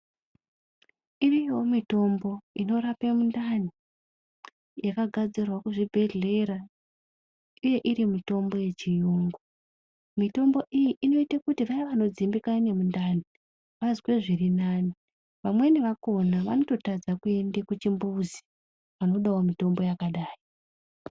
Iriyoo mitombo inorapa mundani yakagadzirwa kuzvibhendlera uye iri mitombo yechiyungu. Mitombo iyi inoita kuti vayaa vanodzimbikana nemundani vazwe zviri nani. Vamweni vakona vanototadza kuenda kuchimbuzi vanodawo mitombo yakadai.